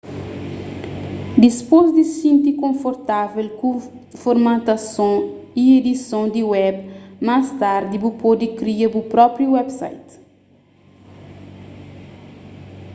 dipôs di xinti konfortável ku formatason y edison di web más tardi bu pode kria bu própi website